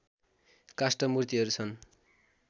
काष्ठ मूर्तिहरू छन्